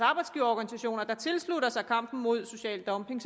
arbejdsgiverorganisationer tilslutter sig kampen mod social dumping